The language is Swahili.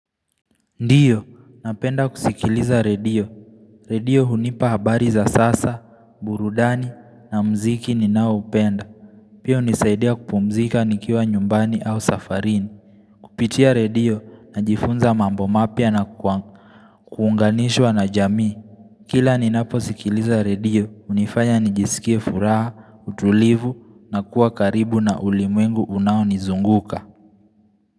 Ndiyo, napenda kusikiliza redio. Redio hunipa habari za sasa, burudani, na mziki ninao hupenda. Pia hunisaidia kupumzika nikiwa nyumbani au safarini. Kupitia redio, najifunza mambo mapya na kwa kuunganishwa na jamii. Kila ninapo sikiliza redio, hunifanya nijisikia furaha, utulivu, na kuwa karibu na ulimwengu unao nizunguka.